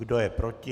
Kdo je proti?